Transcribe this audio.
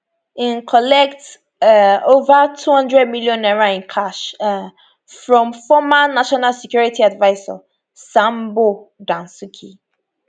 im collect um ova 200 million naira in cash um from former national security adviser sambo dasuki